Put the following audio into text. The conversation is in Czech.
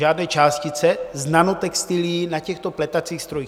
Žádné částice z nanotextilií na těchto pletacích strojích.